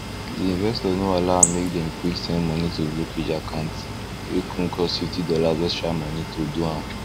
d investor no allow make dem quick send money to brokeage account wey con cause fifty dollars extra money to do am